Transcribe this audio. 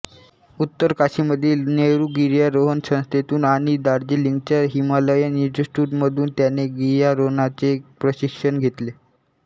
उत्तरकाशीमधील नेहरू गिर्यारोहण संस्थेतून आणि दार्जिलिंगच्या हिमालयन इन्स्टिट्यूटमधून त्याने गियारोहणाचे प्रशिक्षण घेतले